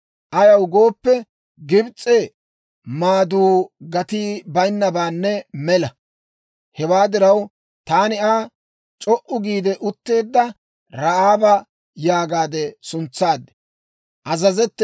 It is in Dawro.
Ayaw gooppe, Gibs'e maaduu gatii bayinnabaanne mela. Hewaa diraw, taani Aa, «C'o"u giide utteedda Ra'aaba» yaagaade suntsaad.